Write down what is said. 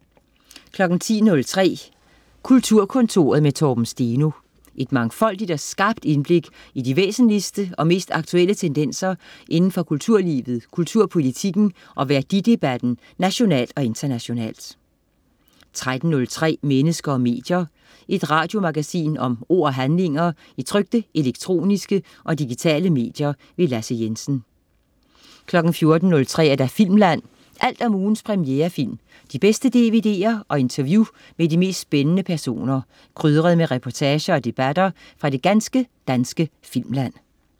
10.03 Kulturkontoret med Torben Steno. Et mangfoldigt og skarpt indblik i de væsentligste og mest aktuelle tendenser indenfor kulturlivet, kulturpolitikken og værdidebatten nationalt og internationalt 13.03 Mennesker og medier. Et radiomagasin om ord og handlinger i trykte, elektroniske og digitale medier. Lasse Jensen 14.03 Filmland. Alt om ugens premierefilm, de bedste dvd'er og interview med de mest spændende personer, krydret med reportager og debatter fra det ganske danske filmland